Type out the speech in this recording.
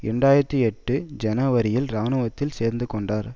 இரண்டு ஆயிரத்தி எட்டு ஜனவரியில் இராணுவத்தில் சேர்ந்துகொண்டார்